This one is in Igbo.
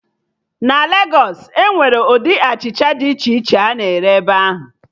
Na Legos, Enwere ụdị achịcha dị iche iche a na-ere ebe ahụ